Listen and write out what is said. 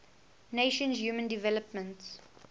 nations human development